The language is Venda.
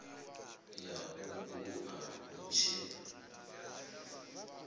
ya u bua hu tshi